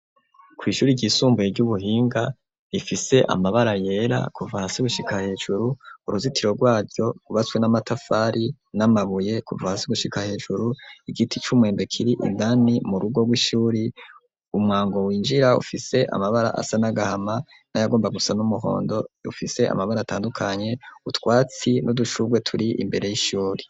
Kw'ishuri ry'isumbuye ry'ubuhinga rifise amabara yera kuva hasi gushika hejuru uruzitiro rwaryo kubatswe n'amatafari n'amabuye kuva hasi gushika hejuru igiti c'umwembe kiri indani mu rugo rw'ishure umwango winjira ufise amabara asa n'agahama n'ayagomba gusa n'umuhondo rufise amabara atandukanye utwatsi n'udushurwe turi imbere y'ishure.